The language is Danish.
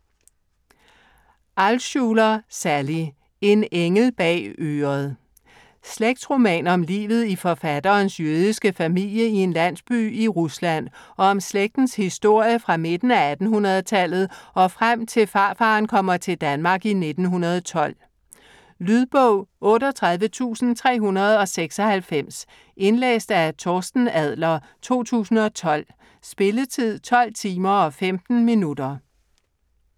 Altschuler, Sally: En engel bag øret Slægtsroman om livet i forfatterens jødiske familie i en landsby i Rusland og om slægtens historie fra midten af 1800-tallet og frem til farfaren kommer til Danmark i 1912. Lydbog 38396 Indlæst af Torsten Adler, 2012. Spilletid: 12 timer, 15 minutter.